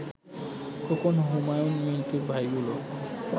খোকন, হুমায়ুন মিন্টুর ভাইগুলো